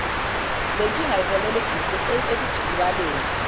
lenkinga iholela ekudikibaleni